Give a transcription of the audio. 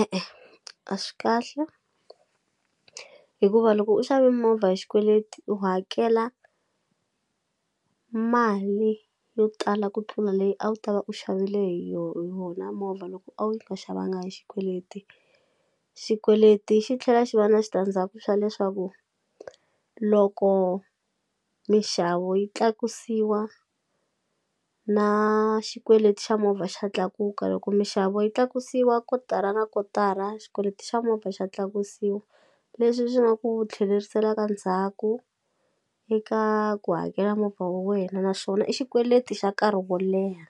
E-e a swi kahle hikuva loko u xave movha hi xikweleti u hakela mali yo tala ku tlula leyi a wu ta va u xavile hi yona movha loko a wu nga xavanga hi xikweleti, xikweleti xi tlhela xi va na xitandzaku xa leswaku loko minxavo yi tlakusiwa na xikweleti xa movha xa tlakuka loko minxavo yi tlakusiwa kotara na kotara xikweleti xa movha xa tlakusiwa leswi swi nga ku tlheleriselaka ndzhaku eka ku hakela movha wa wena naswona i xikweleti xa nkarhi wo leha